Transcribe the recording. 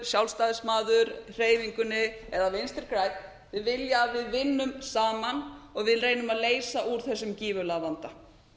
sjálfstæðismaður í hreyfingunni eða vinstri grænn þau vilja að við vinnum saman og við reynum að leysa úr þessum gífurlega vanda